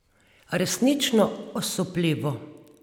Resnično osupljivo.